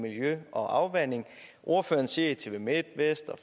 miljø og afvanding ordføreren siger i tvmidt vest og